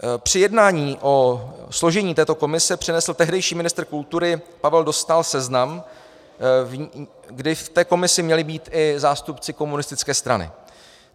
Při jednání o složení této komise přinesl tehdejší ministr kultury Pavel Dostál seznam, kdy v té komisi měli být i zástupci komunistické strany.